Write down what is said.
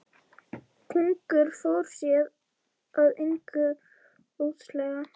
Konungur fór sér að engu óðslega.